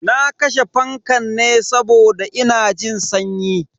Na kashe fankan ne saboda ina jin sanyi.